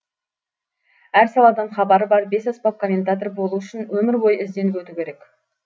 әр саладан хабары бар бесаспап комментатор болу үшін өмір бойы ізденіп өту керек